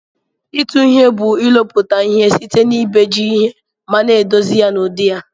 Itụ ihe bu ilụputa ihe site na ibeji ihe mana edozi ya n'udi ya.